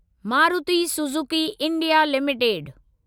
Maruti Suzuki India limited